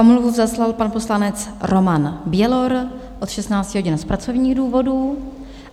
Omluvu zaslal pan poslanec Roman Bělor od 16 hodin z pracovních důvodů.